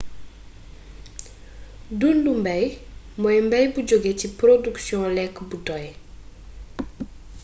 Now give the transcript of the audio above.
dundu mbaay moy mbaay bu jugge ci porodiksiyon lekk bu doy